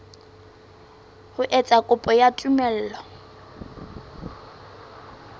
ho etsa kopo ya tumello